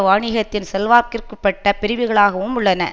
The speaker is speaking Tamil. வணிகத்தின் செல்வாக்கிற்குப்பட்ட பிரிவுகளாகவும் உள்ளன